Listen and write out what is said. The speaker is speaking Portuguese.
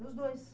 Dos dois.